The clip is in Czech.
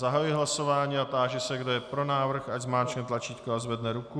Zahajuji hlasování a táži se, kdo je pro návrh, ať zmáčkne tlačítko a zvedne ruku.